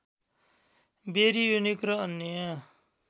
baryonic र अन्य